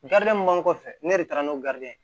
mun b'an kɔfɛ ne de taara n'o ye